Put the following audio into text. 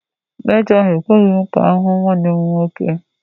Mejọ ahụ ekweghị ka m ga hụ nwanne m nwoke.